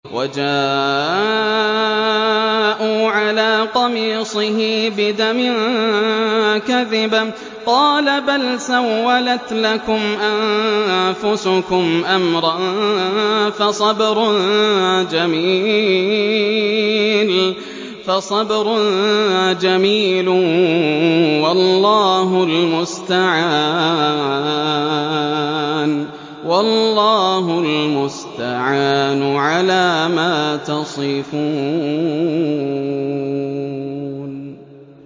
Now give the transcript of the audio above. وَجَاءُوا عَلَىٰ قَمِيصِهِ بِدَمٍ كَذِبٍ ۚ قَالَ بَلْ سَوَّلَتْ لَكُمْ أَنفُسُكُمْ أَمْرًا ۖ فَصَبْرٌ جَمِيلٌ ۖ وَاللَّهُ الْمُسْتَعَانُ عَلَىٰ مَا تَصِفُونَ